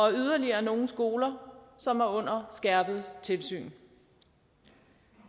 er yderligere nogle skoler som er under skærpet tilsyn